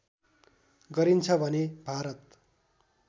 गरिन्छ भने भारत